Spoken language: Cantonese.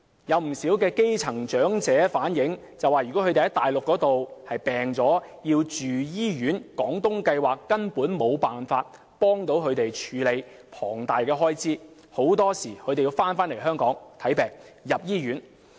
有不少基層長者反映，如果他們在內地生病要住院，廣東計劃根本無法協助他們負擔龐大的住院開支，他們往往要返回香港就醫或住院。